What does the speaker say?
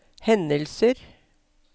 hendelser